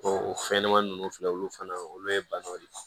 o fɛnɲɛnɛmanin ninnu filɛ olu fana olu ye banaw de ye